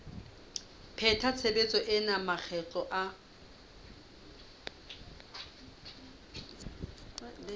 pheta tshebetso ena makgetlo a